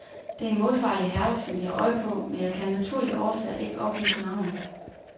Det er en målfarlig herre, som vi har øje på, men jeg kan af naturlige årsager ikke oplyse navnet.